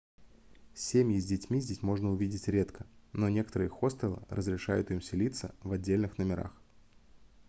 cемьи с детьми здесь можно увидеть редко но некоторые хостелы разрешают им селится в отдельных номерах